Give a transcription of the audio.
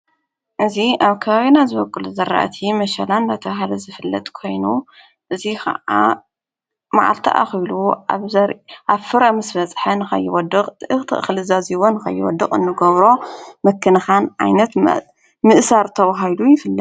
እዙ ኣብ ካይና ዘበቅል ዘርእቲ መሸላን ኣናተበሃለ ዘፍለጥ ኮይኑ እዙይ ኸዓ መዓልተ ኣኺሉ ኣብፍረ ምስ መጽሐን ኸይወድቕ ትእኽቲ ኽልዛዚይወን ከይወድቕ እንገብሮ መክንኻን ዓይነት ምእሣር ተውሃሉ ይፍለጥ ::